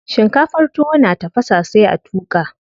Shinkafar tuwo na tafasa sai a tuƙa.